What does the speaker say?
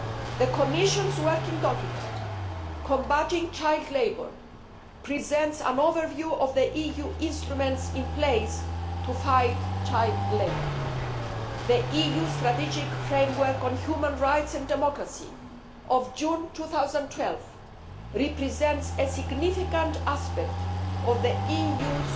The Commission's working document on combating child labour presents an overview of the EU instruments in place to fight child labour. The EU strategic framework on human rights and democracy of June 2012 represents a significant aspect of the EU's